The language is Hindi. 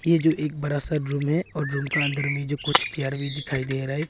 ये जो एक बड़ा सा रूम है और रूम का अंदर में जो कुछ चेयर भी दिखाई दे रहा है।